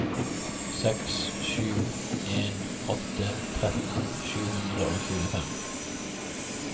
seks sju en åtte tretten sju hundre og tjuefem